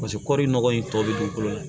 Paseke kɔri nɔgɔ in tɔ bi dugukolo la